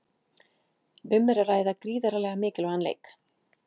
Um er að ræða gríðarlega mikilvægan leik.